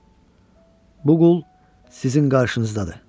Bu qul sizin qarşınızdadır.